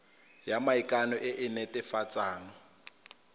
ya maikano e e netefatsang